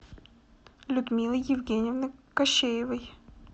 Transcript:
людмилы евгеньевны кощеевой